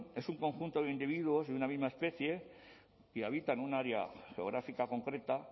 es un conjunto de individuos de una misma especie que habita en un área geográfica concreta